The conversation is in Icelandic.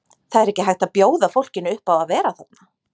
Það er ekki hægt að bjóða fólkinu upp á að vera þarna.